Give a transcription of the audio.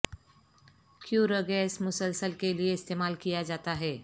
کیوں ر گیس مسلسل کے لئے استعمال کیا جاتا ہے